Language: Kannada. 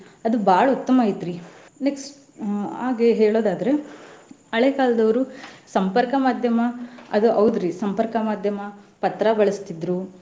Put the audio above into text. ಅದ್ ಬಾಳ್ ಉತ್ತಮ ಐತ್ರಿ. next ಹ್ಮ್ ಹಾಗೆ ಹೇಳೊದಾದ್ರೆ ಹಳೆ ಕಾಲದವ್ರು ಸಂಪರ್ಕ ಮಾಧ್ಯಮ ಅದ್ ಹೌದ್ರಿ ಸಂಪರ್ಕ ಮಾಧ್ಯಮಾ ಪತ್ರಾ ಬಳಸ್ತಿದ್ರು.